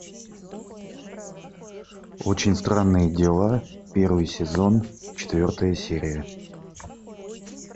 очень странные дела первый сезон четвертая серия